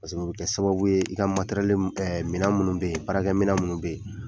o bɛ kɛ sababu ye i ka minɛn minnu bɛ yen baarakɛminɛn minnu bɛ yen